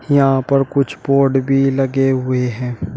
यहां पर कुछ बोर्ड भी लगे हुए हैं।